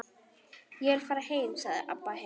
Ég vil fara heim, sagði Abba hin.